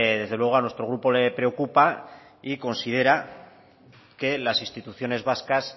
desde luego a nuestro grupo le preocupa y considera que las instituciones vascas